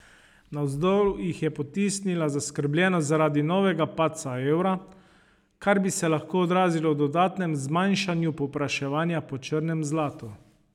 Navzdol jih je potisnila zaskrbljenost zaradi novega padca evra, kar bi se lahko odrazilo v dodatnem zmanjšanju povpraševanja po črnem zlatu.